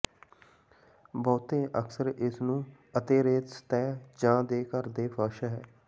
ਬਹੁਤੇ ਅਕਸਰ ਇਸ ਨੂੰ ਅਤੇਰੇਤ ਸਤਹ ਜ ਦੇ ਘਰ ਦੇ ਫਰਸ਼ ਹੈ